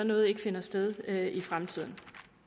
noget ikke finder sted i fremtiden